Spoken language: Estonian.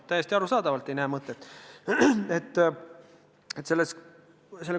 Täiesti arusaadavalt ei näe mõtet!